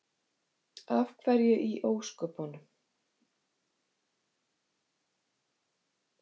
Af hverju í ósköpunum?